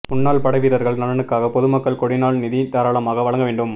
முன்னாள் படைவீரர்கள் நலனுக்காக பொதுமக்கள் கொடிநாள் நிதி தாராளமாக வழங்க வேண்டும்